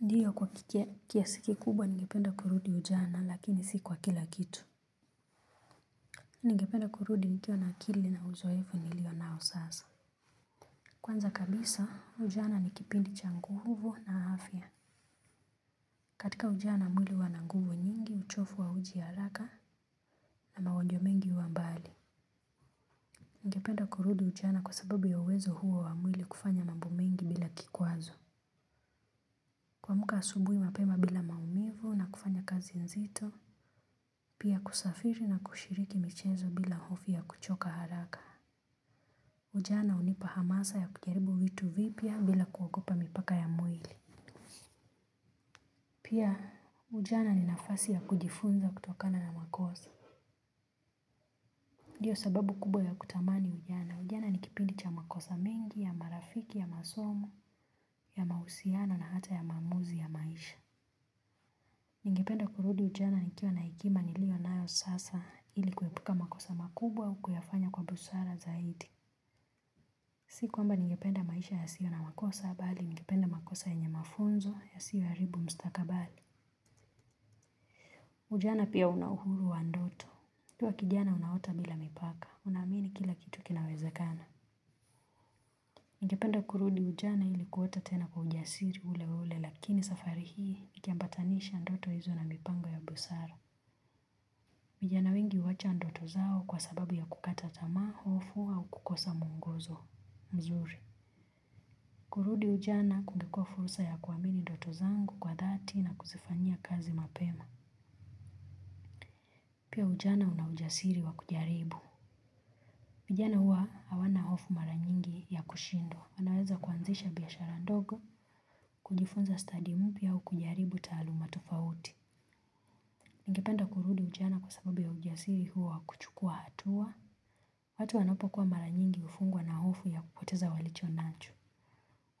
Ndiyo kwa kiasi kikubwa ningependa kurudi ujana lakini si kwa kila kitu. Ningependa kurudi nikiwa na akili na uzoefu nilio nao sasa. Kwanza kabisa ujana ni kipindi cha nguvu na afya. Katika ujana mwili huwa na nguvu nyingi uchovu hauji haraka na mahojo mengi huwa mbali. Ningependa kurudi ujana kwa sababu ya uwezo huo wa mwili kufanya mambo mengi bila kikwazo. Kuamka asubuhi mapema bila maumivu na kufanya kazi nzito. Pia kusafiri na kushiriki michezo bila hofi ya kuchoka haraka. Ujana hunipa hamasa ya kujaribu vitu vipya bila kuogopa mipaka ya mwili. Pia ujana ni nafasi ya kujifunza kutokana na makosa. Ndiyo sababu kubwa ya kutamani ujana. Ujana ni kipindi cha makosa mengi ya marafiki ya masomo, ya mahusiano na hata ya maamuzi ya maisha. Ningependa kurudi ujana nikiwa na hekima nilionayo sasa ili kuhepuka makosa makubwa au kuyafanya kwa busara zaidi. Si kwamba ningependa maisha yasiyo na makosa bali ningependa makosa yenye mafunzo yasiyoharibu mstakabali. Ujana pia una uhuru wa ndoto. Ukiwa kijana unaota bila mipaka. Unaamini kila kitu kinawezekana. Ningependa kurudi ujana ili kuota tena kwa ujasiri ule ule lakini safari hii nikiambatanisha ndoto hizo na mipango ya busara. Vijana wengi huacha ndoto zao kwa sababu ya kukata tamaa, hofu au kukosa muongozo. Mzuri. Kurudi ujana kungekuwa fursa ya kuamini ndoto zangu kwa dhati na kuzifanyia kazi mapema. Pia ujana unaujasiri wa kujaribu. Vijana huwa hawana hofu mara nyingi ya kushindwa. Wanaweza kuanzisha biashara ndogo, kujifunza study mpya au kujaribu taaluma tofauti. Ningependa kurudi ujana kwa sababu ya ujasiri huo wa kuchukua hatua. Watu wanapokuwa mara nyingi hufungwa na hofu ya kupoteza walichonacho.